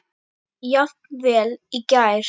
Jafnvel í gær.